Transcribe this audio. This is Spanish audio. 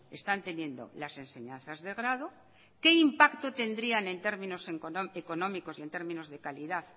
están teniendo las enseñanzas de grado qué impacto tendrían en términos económicos y en términos de calidad